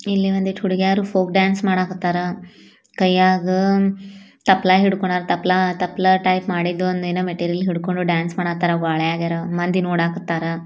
ಇಲ್ಲಿ ಒಂದಷ್ಟು ಹುಡುಗಿಯರು ಫೋಕ್ ಡಾನ್ಸ್ ಮಾಡಕ್ಕತಾರ ಕೈಯಾಗ ತಪ್ಲ ಹಿಡ್ಕೊಂಡು ತಪ್ಪ್ಲ ಟೈಪ್ ಮಾಡಿದ್ದು ಏನೋ ಮೆಟೀರಿಯಲ್ ಹಿಡ್ಕೊಂಡು ಡ್ಯಾನ್ಸ್ ಮಾಡಕತಾರ ಒಳಗಿರೋ ಮಂದಿ ನೋಡಾಕತಾರ.